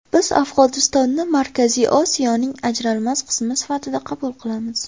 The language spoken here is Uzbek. Biz Afg‘onistonni Markaziy Osiyoning ajralmas qismi sifatida qabul qilamiz.